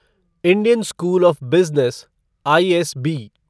Indian school of business ISB